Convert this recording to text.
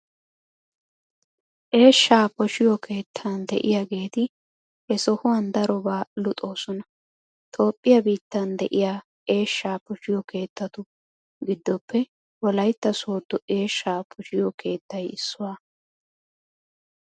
Eeshshaa poshiyo keettan de'iyaageeti he sohuwan darobaa luxoosona. Toophphiyaa biittan de'iya eeshshaa poshiyo keettatu giddoppe Wolaytta Sooddo eeshshaa poshiyo keettay issuwaa.